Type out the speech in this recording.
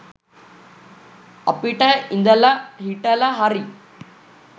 අපිට ඉදල හිටල හරි